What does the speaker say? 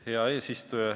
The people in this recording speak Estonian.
Hea eesistuja!